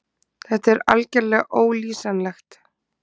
Þetta er algerlega ólýsanlegt.